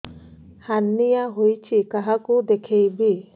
hernia ହୋଇଛି କାହାକୁ ଦେଖେଇବି